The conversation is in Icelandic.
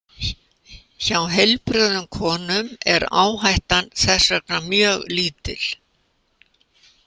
Hjá heilbrigðum konum er áhættan þess vegna mjög lítil.